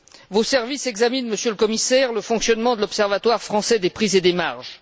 Vos services examinent, Monsieur le Commissaire, le fonctionnement de l'observatoire français des prix et des marges.